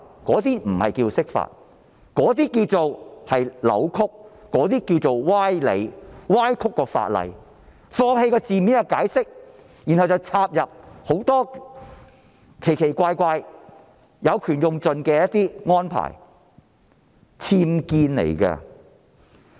這不是釋法，而是扭曲、歪理，是歪曲了法例，放棄字面的解釋，然後插入很多奇奇怪怪、有權用到盡的安排，這是僭建。